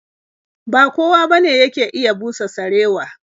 Ba kowa bane yake iya busa sarewa.